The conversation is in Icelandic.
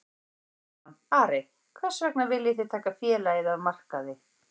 Sindri Sindrason: Ari, hvers vegna viljið þið taka félagið af markaði?